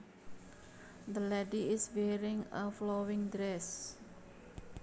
The lady is wearing a flowing dress